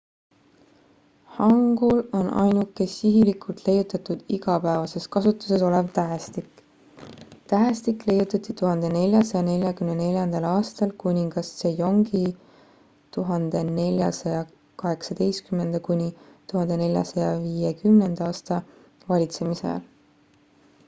hangul on ainuke sihilikult leiutatud igapäevases kasutuses olev tähestik. tähestik leiutati 1444. aastal kuningas sejongi 1418–1450 valitsemisajal